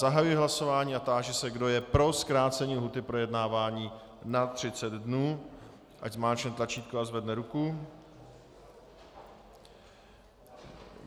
Zahajuji hlasování a táži se, kdo je pro zkrácení lhůty projednávání na 30 dnů, ať zmáčkne tlačítko a zvedne ruku.